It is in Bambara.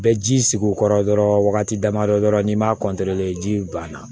Bɛ ji sigi o kɔrɔ dɔrɔn wagati damadɔn n'i ma ji banna